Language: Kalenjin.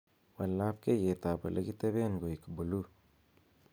wal labkeiyet ab olekiteben koik buluu